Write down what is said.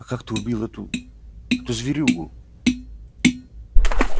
а как ты убил эту эту зверюгу